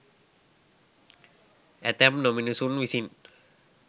ඇතැම් නොමිනුසුන් විසින්